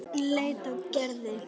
Örn leit á Gerði.